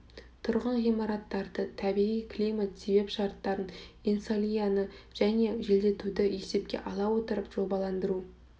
тұрғын ғимараттарды табиғи климат себеп шарттарын инсолияны және желдетуді есепке ала отырып жобаландыру